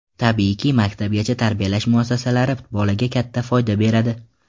Tabiiyki, maktabgacha tarbiyalash muassasalari bolaga katta foyda beradi.